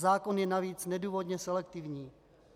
Zákon je navíc nedůvodně selektivní.